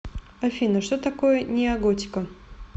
афина что такое неоготика